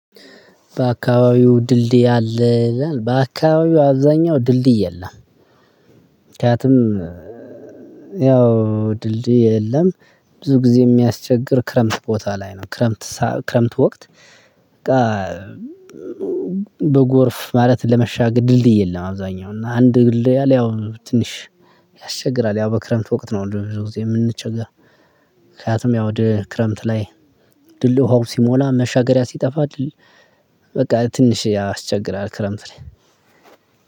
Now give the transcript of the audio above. በአካባቢው ድልድይ አለ በአካባቢው አብዛኛው ድልድይ የለም። ምክንያቱም ያው ድልድይ የለም ብዙ ጊዜ ሚያስቸግር ክረምት ቦታ ላይ ነው። ክረምት ሰዓት ክረምት ወቅት። በቃ በጎርፍ ማለት ለመሻገር ድልድይ የለም። አብዛኛው እና አንድ ድልድይ አለ ያው ትንሽ ያስቸግራል። ያው በክረምት ወቅት ነው ወደ ብዙ ጊዜ የምንቸገር። ምክንያቱም ያው ወደ ክረምት ላይ ድልድዩ ውሃው ሲሞላ መሻገሪያ ሲጠፋ ድል በቃ ትንሽ ያስቸግራል። ክረምት ላይ